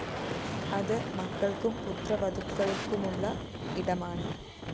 അത് മക്കള്‍ക്കും പുത്രവധുക്കള്‍മുള്ള ഇടമാണ്